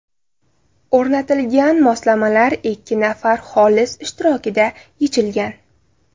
O‘rnatilgan moslamalar ikki nafar xolis ishtirokida yechilgan.